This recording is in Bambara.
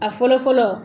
A fɔlɔ fɔlɔ